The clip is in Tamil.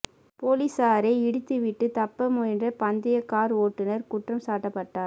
போலிசாரை இடித்துவிட்டு தப்ப முயன்ற பந்தயக் கார் ஓட்டுநர் குற்றம் சாட்டப்பட்டார்